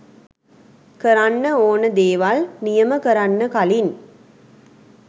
කරන්න ඕන දේවල් නියම කරන්න කලින්